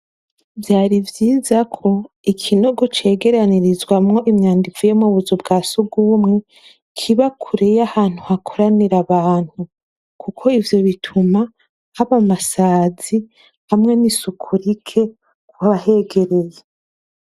Vyari vyiza ko ikinogo cegerenirizwamwo imyanda ivuye mu tuzu wa surwumwe kiba kure y'ahantu hakoranira abantu kuko ivyo bituma haba amasazi hamwe n'isuku rike ku bahegereye.